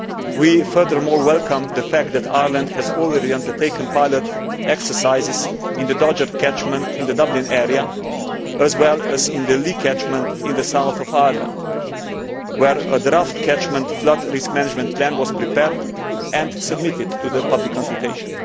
We furthermore welcome the fact that Ireland has already undertaken pilot exercises in the Dodder catchment in the Dublin area as well as in the Lee catchment in the south of Ireland where a draft catchment flood risk management plan was prepared and submitted to public consultation.